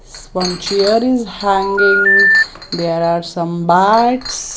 One chair is hanging there are some bats.